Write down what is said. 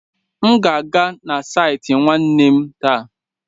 M ga-aga na saịtị nwanne m taa.